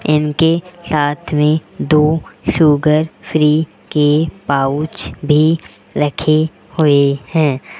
इनके साथ में दो शुगर फ्री के पाउच भी रखे हुए हैं।